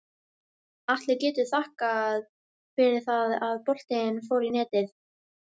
Atli getur þakkað fyrir það að boltinn fór í netið.